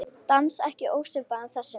Dans ekki ósvipaðan þessum.